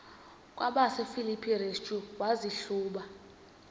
kwabasefilipi restu wazihluba